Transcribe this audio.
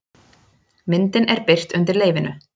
Myndin er birt undir leyfinu